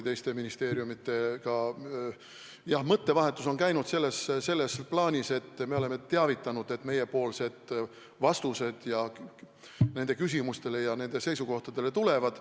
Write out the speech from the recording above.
Teiste ministeeriumidega mõttevahetus on käinud ja me oleme neid teavitanud, et meiepoolsed vastused nende küsimustele ja hinnangud nende seisukohtadele tulevad.